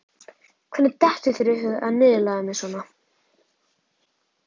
Hvernig dettur þér í hug að niðurlægja mig svona?